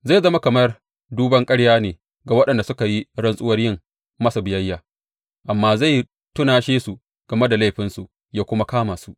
Zai zama kamar duban ƙarya ne ga waɗanda suka yi rantsuwar yin masa biyayya, amma zai tunashe su game da laifinsu ya kuma kama su.